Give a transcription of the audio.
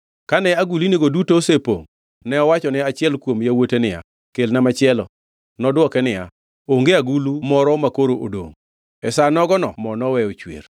Kane agulnigo duto osepongʼ ne owachone achiel kuom yawuote niya, “Kelna machielo.” Nodwoke niya, “Onge agulu moro makoro odongʼ.” E sa nogono mo noweyo chwer.